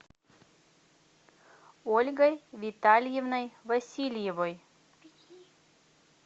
ольгой витальевной васильевой